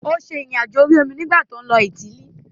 Ó ṣe ìrìn àjò orí omi nígbà tí ó lọ Ítílì.